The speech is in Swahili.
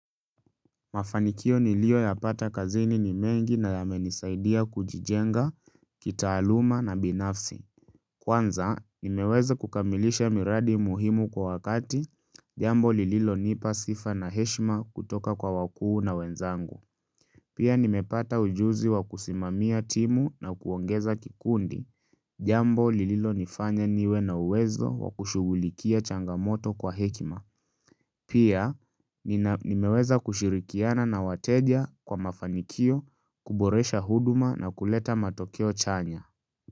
Mafanikio niliyoyapata kazini ni mengi na yamenisaidia kujijenga, kitaaluma na binafsi. Kwanza, nimeweza kukamilisha miradi muhimu kwa wakati, jambo lililonipa sifa na heshima kutoka kwa wakuu na wenzangu. Pia nimepata ujuzi wa kusimamia timu na kuongeza kikundi, jambo lililonifanya niwe na uwezo wa kushughulikia changamoto kwa hekima. Pia nimeweza kushirikiana na wateja kwa mafanikio, kuboresha huduma na kuleta matokeo chanya.